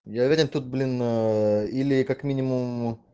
говоря тут блин ээ или как минимум